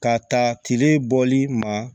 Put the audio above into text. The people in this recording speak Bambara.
Ka ta kile bɔli ma